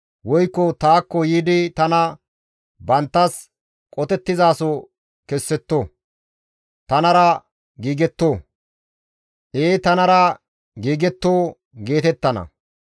Woykko taakko yiidi tana banttas qotettizaso kessetto; tanara giigetto; ee tanara giigetto» geetettana.